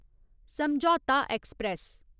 समझौता ऐक्सप्रैस